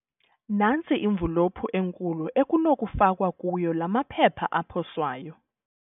Nantsi imvulophu enkulu ekunokufakwa kuyo la maphepha aposwayo.